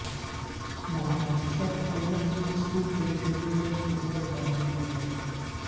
مہاراشٹر حکومت نے school canteen میں جنک فوڈ پر پابندی لگائی